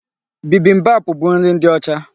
Bibimbap bụ nri ndị ọcha.